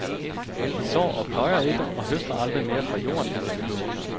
De sår og pløjer ikke og høster aldrig mere fra jorden, end de behøver.